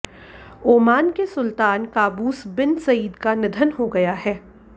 Oman के सुल्तान Qaboos bin Said का निधन हो गया है